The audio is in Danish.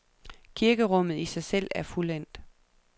Kirkerummet i sig selv er fuldendt.